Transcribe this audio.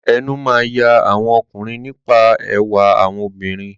Ẹnu máa ń ya àwọn ọkùnrin nípa ẹwà àwọn obìnrin.